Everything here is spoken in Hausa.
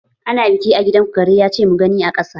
Ana biki a gidanku Kare ya ce mu gani a ƙasa